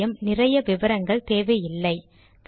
சில சமயம் நிறைய விவரங்கள் தேவையில்லை